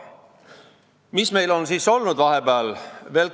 Mis meil siis on siin vahepeal olnud?